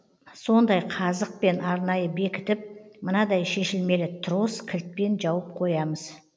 сондай қазықпен арнайы бекітіп мынадай шешілмелі трос кілтпен жауып қоямыз